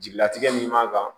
Jigilatigɛ min man kan